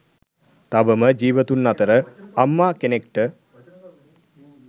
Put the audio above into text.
තවම ජීවතුන් අතර අම්මා කෙනෙක්ට